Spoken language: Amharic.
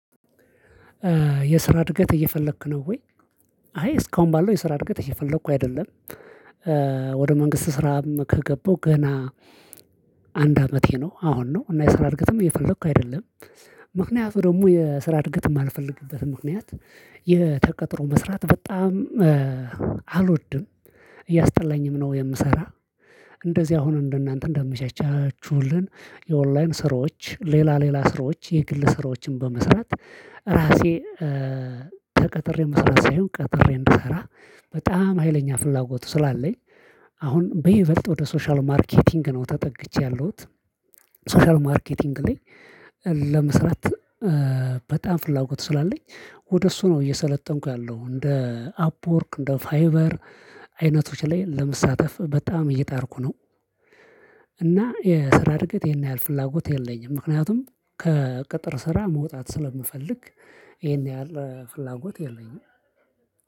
የስራ እድገት እየፈለክ ነው ወይ? አይ እስካሁን ባለው የስራ እድገት እየፈለኩ አይደለም። መንግስት ስራም ከገባው ገና አንድ አመቴ ነው። አሁን ነው እና የስራ እድገትም እየፈለኩ አይደለም። ምክንያቱ ደግሞ የስራ እድገት የማልፈልግበት ምክንያት የተቀጠሮ መስራት በጣም አልወድም። እያስጠላኝም ነው የምሰራ እንደዚህ አሁን እንደናንተ እንደምቻችሁልን። የኦንላይን ስራዎች ሌላ ሌላ ስራዎች የግል ስራዎችን በመስራት ራሴ ተቀጥሬ መስራት ሳይሆን ቀጥሬ እንድሰራ በጣም ሀይለኛ ፍላጎቱ ስላለኝ። አሁን በይበልጥ ወደ ሶሻል ማርኬቲንግ ነው ተጠግቼ ያለሁት ሶሻል ማርኬቲንግ ላይ። ለመስራት በጣም ፍላጎት ስላለኝ ወደ እሱ ነው እየሰለጠንኩ ያለው እንደ አፕወርክ እንደ ፋይቨር አይነቶች ላይ ለመሳተፍ በጣም እየጣርኩ ነው። እና የስራ እድገት ይሄን ያህል ፍላጎት የለኝም ምክንያቱም ከቅጥር ስራ መውጣት ስለምፈልግ። ይሄን ያህል ፍላጎት የለኝም።